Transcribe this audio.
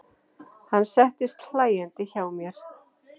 Hann settist hlæjandi hjá mér.